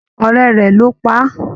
Ọrẹ rẹ ló pá a.